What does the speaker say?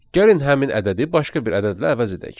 Gəlin həmin ədədi başqa bir ədədlə əvəz edək.